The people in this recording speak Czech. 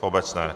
V obecné.